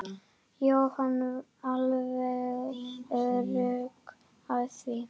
Jóhann: Alveg öruggur á því?